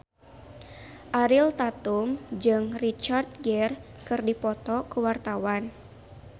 Ariel Tatum jeung Richard Gere keur dipoto ku wartawan